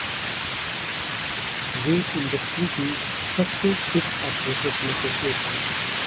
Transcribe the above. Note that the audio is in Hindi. वे इंडस्ट्री की सबसे फिट एक्ट्रेसेज में से एक हैं